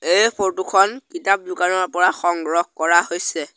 এই ফটো খন কিতাপ দোকানৰ পৰা সংগ্ৰহ কৰা হৈছে।